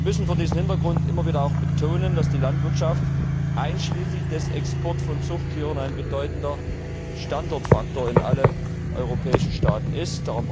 Wir müssen vor diesem Hintergrund immer wieder betonen, dass die Landwirtschaft einschließlich des Exports von Zuchttieren ein bedeutender Standortfaktor in allen europäischen Staaten ist.